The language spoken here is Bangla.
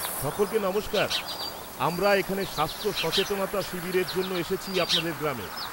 -সকলকে নমস্কার, আমরা এখানে স্বাস্থ্য সচেতনতা শিবিরের জন্য এসেছি আপনাদের গ্রামে।